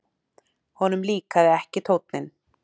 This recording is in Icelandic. Honum líkaði ekki tónninn.